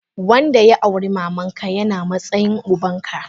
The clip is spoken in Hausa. Wanda ya auri mamanka yana matsayin ubanka.